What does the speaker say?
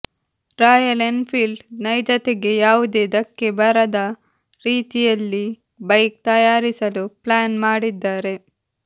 royal Enfield ನೈಜತೆಗೆ ಯಾವುದೇ ಧಕ್ಕೆ ಬರದ ರೀತಿಯಲ್ಲಿ ಬೈಕ್ ತಯಾರಿಸಲು ಪ್ಲಾನ್ ಮಾಡಿದ್ದಾರೆ